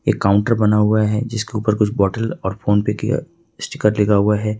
एक काउंटर बना हुआ है जिसके ऊपर कुछ बॉटल और फोन पे का स्टीकर लगा हुआ है